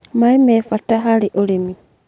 maĩ me bata hari ũrĩmĩ.